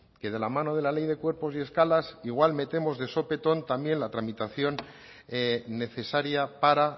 que de la mano de la ley de cuerpos y escalas igual metemos de sopetón también la tramitación necesaria para